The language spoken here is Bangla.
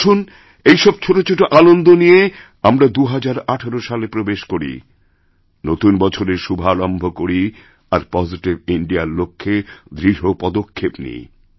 আসুন এই সব ছোটছোট আনন্দ নিয়ে আমরা ২০১৮ সালে প্রবেশ করি নতুনবছরের শুভারম্ভ করি আর পজিটিভ ইন্ডিয়া র লক্ষ্যে দৃঢ় পদক্ষেপ নিই